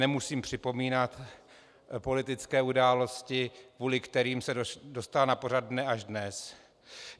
Nemusím připomínat politické události, kvůli kterým se dostala na pořad dne až dnes.